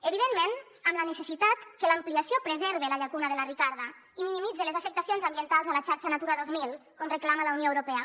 evidentment amb la necessitat que l’ampliació preserve la llacuna de la ricarda i minimitze les afectacions ambientals a la xarxa natura dos mil com reclama la unió europea